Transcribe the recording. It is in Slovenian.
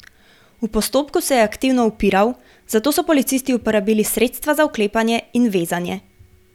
V postopku se je aktivno upiral, zato so policisti uporabili sredstva za vklepanje in vezanje.